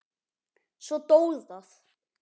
Svo dó það.